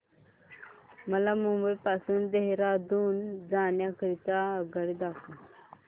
मला मुंबई पासून देहारादून जाण्या करीता आगगाडी दाखवा